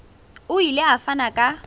o ile a fana ka